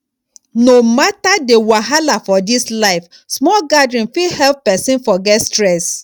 no matter the wahala for this life small gathering fit help person forget stress